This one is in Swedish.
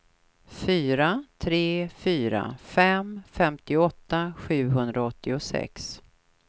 fyra tre fyra fem femtioåtta sjuhundraåttiosex